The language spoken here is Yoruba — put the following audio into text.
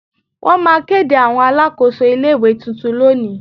Won ma kids Awon Alakoso ile-iwe tuntun loni